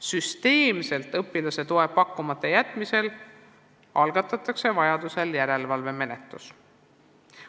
Süsteemselt õpilaste toeta jätmise korral algatatakse järelevalvemenetlus.